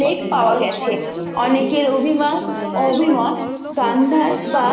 Lake পাওয়া গেছে অনেক এর অভিমান ও অভিমত গান্ধার বা